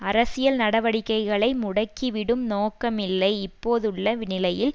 அரசியல் நடவடிக்கைகளை முடக்கிவிடும் நோக்கமில்லை இப்போதுள்ள நிலையில்